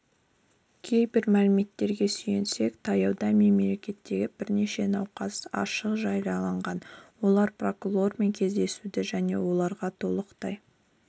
кейбір мәліметтерге сүйенсек таяуда мекемедегі бірнеше науқас аштық жариялаған олар прокурормен кездесуді және оларға толықтай